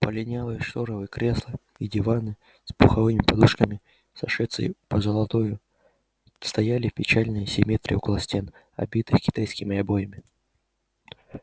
полинялые штофные кресла и диваны с пуховыми подушками с сошедшей позолотою стояли в печальной симметрии около стен обитых китайскими обоями